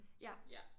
Ja